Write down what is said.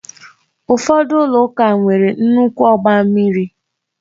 Ụfọdụ ụlọ ụka nwere nnukwu ọgba mmiri